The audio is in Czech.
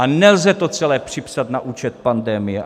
A nelze to celé připsat na účet pandemie.